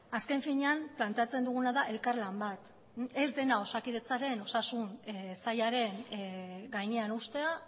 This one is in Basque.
azken finean planteatzen duguna da elkarlan bat ez dena osakidetzaren osasun sailaren gainean uztea